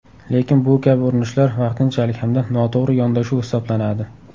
Lekin bu kabi urinishlar vaqtinchalik hamda noto‘g‘ri yondashuv hisoblanadi.